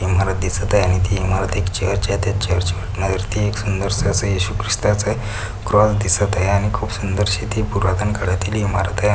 इमारत दिसत आहे आणि ती इमारत एक चर्चच्यात आहे त्या चर्च वटना वर्ती एक सुंदर स असे येशु ख्रिस्ताच आहे क्रॉस दिसत आहे आणि खूप सुंदर शी ती पुरातन काळातील इमारत आहे.